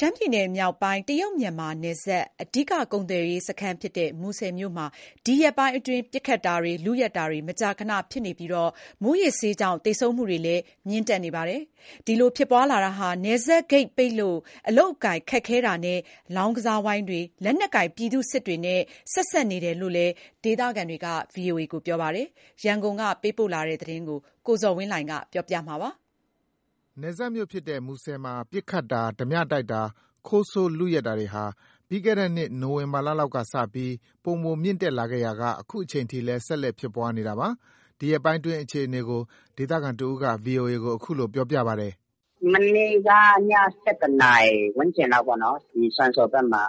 ရှမ်းပြည်နယ်မြောက်ပိုင်း တရုတ်-မြန်မာနယ်စပ် အဓိကကုန်သွယ်ရေးစခန်းဖြစ်တဲ့ မူဆယ်မြို့မှာ ဒီရက်ပိုင်းအတွင်း ပစ်ခတ်တာတွေ၊ လုယက်တာတွေ မကြာခန ဖြစ်နေပြီး မူးယစ်ဆေးကြောင့် သေဆုံးမှုတွေလည်း မြင့်တက်နေပါတယ်။ ဒီလို ဖြစ်ပွားလာတာဟာ နယ်စပ်ဂိတ်ပိတ်လို့ အလုပ်အကိုင်ခက်ခဲတာနဲ့ လောင်းကစားဝိုင်းတွေ၊ လက်နက်ကိုင် ပြည်သူ့စစ်တွေနဲ့ ဆက်စပ်နေတယ်လို့ ဒေသခံတွေကပြောကြပါတယ်။ ရန်ကုန်ကလာတဲ့ တရုတ်-မြန်မာနယ်စပ် မူဆယ်မြို့အခြေအနေကို ကိုဇော်ဝင်းလှိုင်က တင်ပြပေးထားပါတယ်။ နယ်စပ်မြို့ဖြစ်တဲ့ မူဆယ်မြို့မှာ ပစ်ခတ်တာ၊ ဓါးပြတိုက်တာ၊ ခိုးဆိုးလုယက်တာတွေဟာ ပြီးခဲ့တဲ့နှစ် နိုဝင်ဘာလလောက်ကစပီး ပိုမိုမြင့်တက်ခဲ့ရာက လက်ရှိအချိန် အထိလည်း ဆက်လက်ဖြစ်ပွားနေတာပါ။ ဒီရက်ပိုင်းအတွင်း အခြေအနေကို ဒေသခံတဦးက VOA ကို အခုလို ပြောပါတယ်။ “မနေ့က ည ၁၁ နာရီ ဝန်းကျင်လောက်ပေါ့နော်။ စွမ်စော်ဘက်မှာ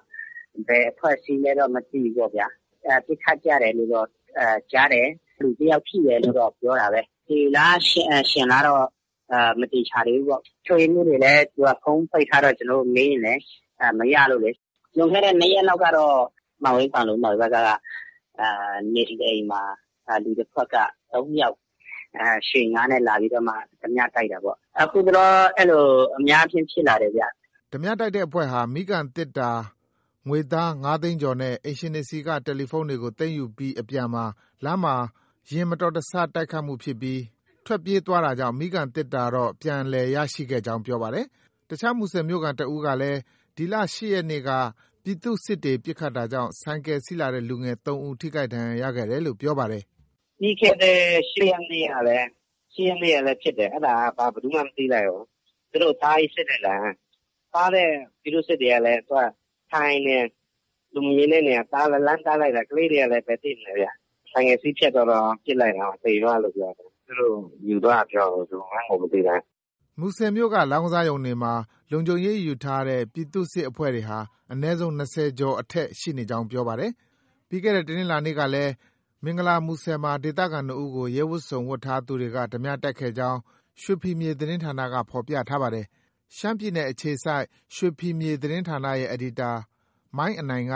ဘယ်အဖွဲ့ အစည်းလဲတော့ မသိဘူးပေါ့ဗျာ။ ပစ်ခတ်ကြတယ်လို့တော့ ကြားတယ်။ လူတယောက် ထိတယ်လို့တော့ ပြောတာပဲ။ သေလား ရှင်လားတော့ မသေချာသေးဘူးပေါ့။ အုပ်ချုပ်ရေးမှုးတွေလည်း ဖုန်းပိတ်ထားတော့ ကျနော်တို့ မေးရင်လည်း မရလို့လေ။ လွန်ခဲ့တဲ့ နှစ်ရက်လောက်ကတော့ မန်ဝိန်း၊ ပန်လုံဘက်က နေအိမ်တအိမ်မှာ လူတဖွဲ့က ၃ ယောက် ရွှေငါး (Toyota Maark II) နဲ့လာပြီးတော့မှ ဒမြ (ဓါးပြ) တိုက်တာပေါ့။ အခုတလော အဲလို အများအားဖြင့် ဖြစ်လာတယ်ဗျ။” ဓါးပြတိုက်တဲ့အဖွဲ့ဟာ မီးခံသေတ္တာ၊ ငွေသား ၅ သိန်းကျော်နဲ့ အိမ်ရှင်တွေဆီက တယ်လီဖုန်းတွေကို သိမ်းယူပြီးအပြန်မှာ လမ်းမှာ ယာဉ်မတော်တဆတိုက်မှုဖြစ်ပြီး ထွက်ပြေးသွားတာကြောင့် မီးခံသေတ္တာတော့ ပြန်လည်ရရှိခဲ့ကြောင်း ပြောပါတယ်။ အခြားမူဆယ်မြို့ခံတဦးကလည်း ဒီလ ၈ ရက်နေ့က ပြည်သူ့စစ်တွေ ပစ်ခတ်တာကြောင့် ဆိုင်ကယ်စီးလာတဲ့ လူငယ် ၃ ဦး ထိခိုက်ဒဏ်ရာရခဲ့တယ်လို့ ပြောပါတယ်။ “ပြီးခဲ့တဲ့ ၈ ရက်နေ့ကလည်း ဖြစ်တယ်။ အဲဒါက ဘယ်သူမှ မသိလိုက်ဘူး။ သူတို့ တားပြီး စစ်လိုက်တာ။ တားတဲ့ ပြည်သူ့စစ်တွေကလည်း ထိုင်နေတာ။ လူမမြင် တဲ့နေရာ လှမ်းတားလိုက်တာ။ ကလေးတွေကလည်း ဘယ်သိမလဲဗျ။ ဆိုင်ကယ် စီးဖြတ်သွားတော့ ပစ်လိုက်တာ သေသွားတယ်လို့ ပြောတယ်။ သူတို့ ယူသွားတယ်ပြောတာပဲ ဘယ်သူမှန်းကို မသိလိုက်ဘူး။” မူဆယ်မြို့က လောင်းကစားရုံတွေမှာ လုံခြုံရေးယူထားတဲ့ ပြည်သူ့စစ်အဖွဲ့တွေက အနည်းဆုံး ၂၀ ကျော်အထက် ရှိနေကြောင်း ပြောပါတယ်။ ပြီးခဲ့တဲ့ တနင်္လာနေ့ကလည်း မင်္ဂလာမူဆယ်မှာ ဒေသခံ ၂ ဦးကို ရဲဝတ်စုံ ဝတ်ဆင် ထားသူတွေက ဓါးပြတိုက်ခဲ့ကြောင်း ရွှေဖီမြေသတင်းဌာနက ဖော်ပြထားပါတယ်။ ရှမ်းပြည်နယ်ကအခြေစိုက် ရွှေဖီမြေသတင်းဌာနရဲ့ အယ်ဒီတာ မိုင်းအနိုင်က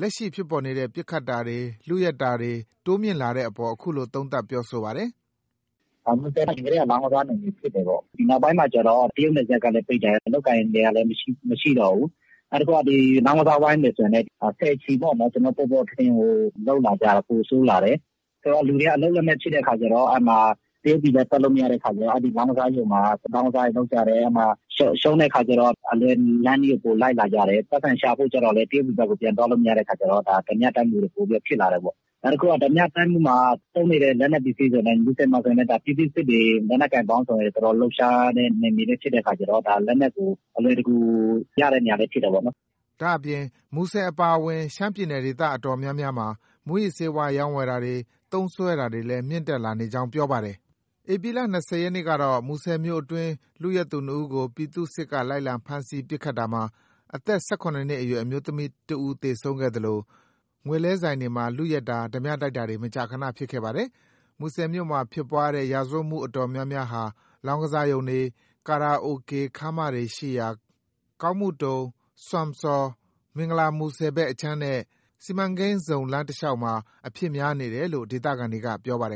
လက်ရှိဖြစ်ပေါ်နေတဲ့ ပစ်ခတ်တာတွေ၊ လုယက်တာတွေ တိုးမြင့်လာတဲ့အပေါ် အခုလို သုံးသပ်ပြောဆိုပါတယ်။ “မူဆယ်က အရင်ကတည်းက လောင်းကစားနယ်မြေဖြစ်တယ်ပေါ့။ နောက်ပိုင်းမှာကျတော့ တရုတ်နယ်စပ်ကလည်း ပိတ်တယ်။ အလုပ်အကိုင်တွေကလည်း မရှိတော့ဘူး။ နောက်တခုက လောင်းကစားဝိုင်းတွေဆိုလည်း ဆယ်ချီပေါ့နော်။ ပေါ်ပေါ်ထင်ထင်ကို လုပ်လာကြတယ်။ ပိုဆိုးလာတယ်။ ဆိုတော့ လူတွေက အလုပ်လက်မဲ့ဖြစ်တဲ့အခါကျတော့ တရုတ်ပြည်လည်း ထွက်လို့မရတဲ့အခါကျတော့ လောင်းကစားရုံမှာ လောင်းကစားတွေ လုပ်ကြတယ်။ ရှုံးတဲ့အခါကျတော့ အလွယ်လမ်းနည်းကို ပိုလိုက်လာကြတယ်။ ပိုက်ဆံရှာဖို့အတွက်လည်း တရုတ်ပြည်ဘက်ကို သွားလို့ မရတဲ့အခါကျတော့ ဓါးပြတိုက်မှုတွေ ပိုပြီးတော့ ဖြစ်လာတယ်ပေါ့။ နောက်တခုက ဓါးပြတိုက်မှုမှာ သုံးနေတဲ့ ပစ္စည်းတွေဆိုလည်း မူဆယ်မှာဆို ပြည်သူ့ စစ်တွေ လက်နက်ကိုင်ပေါင်းစုံ လှုပ်ရှားတဲ့နယ်မြေလည်း ဖြစ်တဲ့အခါကျတော့ လက်နက်ကို အလွယ်တကူ ရတဲ့နေရာလည်းဖြစ်တယ်ပေါ့နော်။” ဒါ့အပြင် မူဆယ်အပါဝင် ရှမ်းပြည်နယ်ဒေသအတော်များများမှာ မူးယစ်ဆေးဝါး ရောင်းဝယ်တာတွေ၊ သုံးစွဲတာတွေလည်း မြင့်တက်လာနေကြောင်း ပြောပါတယ်။ ဧပြီလ ၂၀ ရက်နေ့ကတော့ မူဆယ်မြို့အတွင်း လုယက်သူ ၂ ဦးကို ပြည်သူ့စစ်က လိုက်လံဖမ်းဆီး ပစ်ခတ်ရာမှာ အသက် ၁၇ နှစ်အရွယ် အမျိုးသမီး သေဆုံးခဲ့သလို ငွေလဲဆိုင်တွေမှာ လုယက်တာ၊ ဓါးပြတိုက်တာတွေ မကြာခန ဖြစ်ခဲ့ပါတယ်။ မူဆယ်မြို့မှာ ဖြစ်ပွားတဲ့ ရာဇဝတ်မှုအတော်များများဟာ လောင်းကစားရုံတွေ၊ ကာရာအိုကေ ခမ်းမတွေရှိရာ ကောင်းမှုတုံ၊ စွမ်စော်၊ မင်္ဂလာမူဆယ်ဘက်အခြမ်းနဲ့ စီမံကိန်းဇုံ လမ်းတလျောက်မှာ အဖြစ်များနေတယ်လို့ ဒေသခံတွေက ပြောပါတယ်